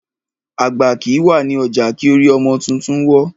Àgbà kìí wà ní ọjà kí orí ọmọ tuntun wọ́.